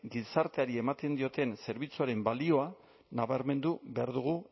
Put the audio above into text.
gizarteari ematen dioten zerbitzuaren balioa nabarmendu behar dugu